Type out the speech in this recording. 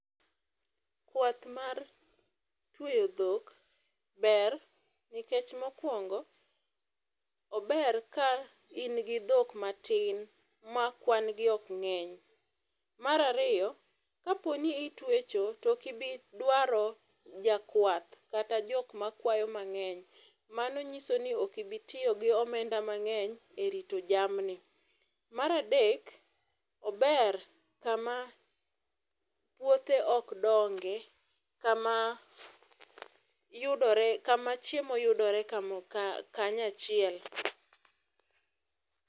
kwath mar tweyo dhok ber nikech mokwongo ober ka in gi dhok matin ma kwan gi ok ng'eny. Mar ariyo kapo ni itwecho tokibii dwaro jakwath kata jok makwayo mang'eny mano nyiso ni ok ibi tiyo gomenda mang'eny e rito jamni. Mar adek ober kama puothe ok donge kama yudore kama chiemo yudore kanyachiel.